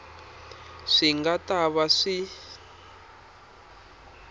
swi nga ta va swi